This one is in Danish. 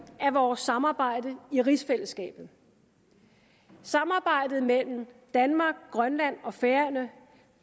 af vores samarbejde i rigsfællesskabet samarbejdet mellem danmark grønland og færøerne